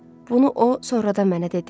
Bunu o sonradan mənə dedi.